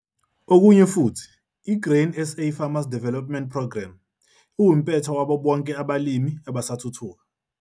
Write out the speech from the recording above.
Okunye futhi i-Grain SA Farmer Development Programme iwumpetha wabo BONKE abalimi abasathuthuka.